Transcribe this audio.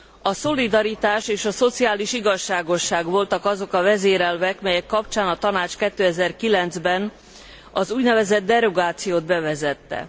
A szolidaritás és a szociális igazságosság voltak azok a vezérelvek, melyek kapcsán a Tanács 2009 ben az úgynevezett derogációt bevezette.